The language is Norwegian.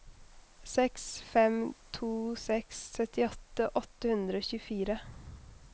seks fem to seks syttiåtte åtte hundre og tjuefire